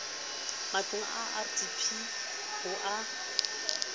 matlong a rdp ho a